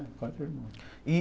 É, quatro irmãos. E